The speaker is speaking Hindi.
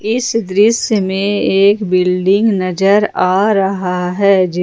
इस दृश्य में एक बिल्डिंग नजर आ रहा है जिस --